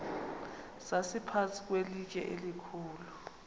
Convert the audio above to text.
sasiphantsi kwelitye elikhulu